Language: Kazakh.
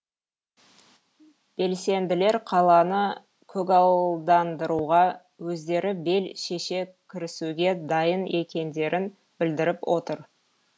белсенділер қаланы көгалдандыруға өздері бел шеше кірісуге дайын екендерін білдіріп отыр